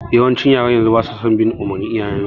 Yawancin yaran yanzu basa bin umurnin iyayen su